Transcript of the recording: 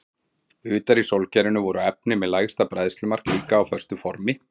Utar í sólkerfinu voru efni með lægra bræðslumark líka á föstu formi.